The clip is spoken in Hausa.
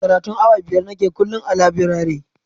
Karatun awa biyar nake kullum a labirare